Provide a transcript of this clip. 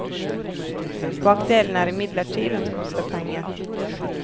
Bakdelen er imidlertid at det koster penger.